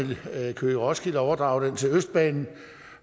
køge roskilde overdrager den til østbanen